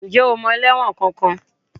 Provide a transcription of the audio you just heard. Ǹjẹ́ o mọ ẹlẹ́wọ̀n kankan?